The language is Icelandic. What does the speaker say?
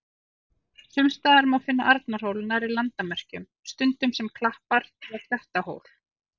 Sums staðar má finna Arnarhól nærri landamerkjum, stundum sem klappar- eða klettahól.